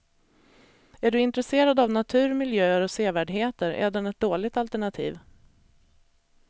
Är du intresserad av natur, miljöer och sevärdheter är den ett dåligt alternativ.